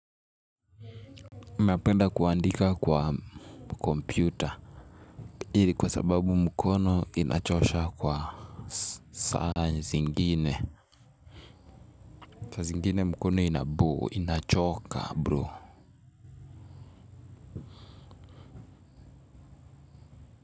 Napenda kuandika kwa kompyuta hii ni kwa sababu mkono inachosha kwa saa zingine. Saa zingine mkono inachoka, bro.